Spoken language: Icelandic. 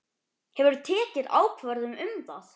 Hefurðu tekið ákvörðun um það?